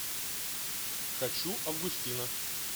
хочу августина